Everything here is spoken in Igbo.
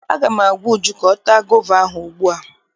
Aga m agwa Uju ka ọ taa gova ahụ ugbu a!